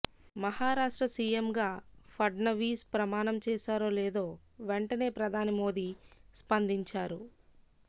మహారాష్ట్ర సీఎంగా ఫడ్నవీస్ ప్రమాణం చేశారో లేదో వెంటనే ప్రధాని మోడీ స్పందించారు